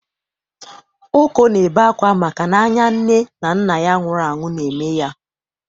Oko na-ebe akwa maka n'anya nne na nna ya nwuru anwu na-eme ya